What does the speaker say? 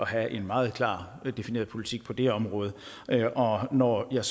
have en meget klart defineret politik på det område når jeg